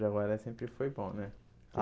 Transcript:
Já agora sempre foi bom, né?